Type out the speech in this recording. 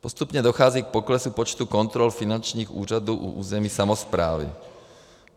Postupně dochází k poklesu počtu kontrol finančních úřadů u územní samosprávy.